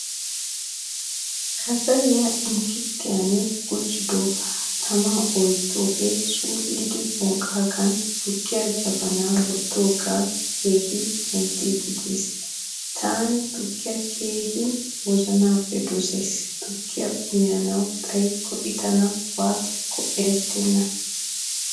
Kasaliyaa inkiritiyan gujjidoga tama oyttoge suulidi bonqqagan tukkiyaa jabana wottoge keehin penttidi de'ees. Tani tukkiyaa keehin wozanappe dosaysi. Tukkiyaa uyanawu xayikko i tana waatiyako erettena.